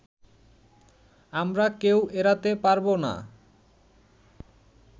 আমরা কেউ এড়াতে পারবো না